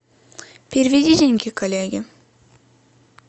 переведи деньги коллеге